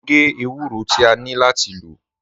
Mo ń gé èwúrọ̀ tí à nlọ láti lọ́.